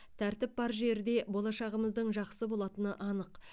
тәртіп бар жерде болашағымыздың жақсы болатыны анық